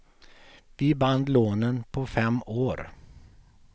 Vi band lånen på fem år.